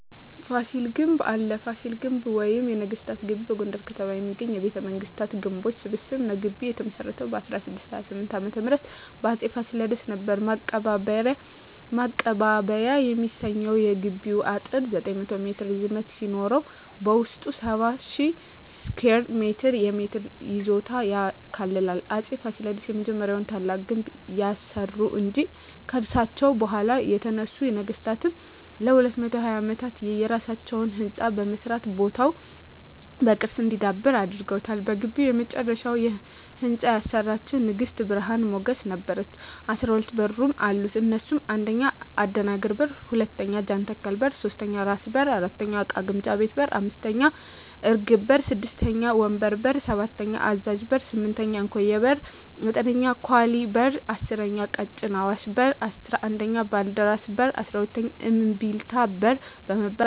ፋሲል ግንብ አለ ፋሲል ግቢ ወይም ነገስታት ግቢ በጎንደር ከተማ የሚገኝ የቤተ መንግስታት ግንቦች ስብስብ ነዉ ግቢዉ የተመሰረተዉ በ1628ዓ.ም በአፄ ፋሲለደስ ነበር ማቀባበያ የሚሰኘዉ የግቢዉ አጥር 900ሜትር ርዝመት ሲኖረዉበዉስጡ 70,000ስኩየር ሜትር የመሬት ይዞታ ያካልላል አፄ ፋሲለደስ የመጀመሪያዉና ታላቁን ግንብ ያሰሩ እንጂ ከርሳቸዉ በኋላ የተነሱ ነገስታትም ለ220ዓመታት የየራሳቸዉ ህንፃ በመስራት ቦታዉ በቅርስ እንዲዳብር አድርገዋል በግቢዉ የመጨረሻዉን ህንፃ ያሰራቸዉን ንግስት ብርሀን ሞገስ ነበረች 12በሮች አሉት እነሱም 1. አደናግር በር 2. ጃንተከል በር 3. ራስ በር 4. እቃ ግምጃ ቤት 5. እርግብ በር 6. ወንበር በር 7. አዛዥ በር 8. እንኮዬ በር 9. ኳሊ በር 10. ቀጭን አሽዋ በር 11. ባልደራስ በር 12. እምቢልታ በር በመባል ይታወቃሉ